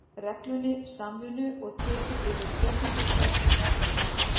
reglunni samvinnu og tekið yrði tillit til þess í meðferð máls